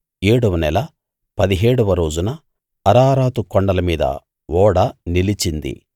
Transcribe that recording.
ఏడవ నెల పదిహేడవ రోజున అరారాతు కొండలమీద ఓడ నిలిచింది